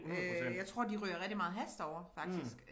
Øh jeg tror de ryger rigtig meget hash derovre faktisk